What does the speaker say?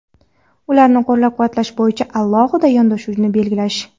ularni qo‘llab-quvvatlash bo‘yicha alohida yondashuvni belgilash.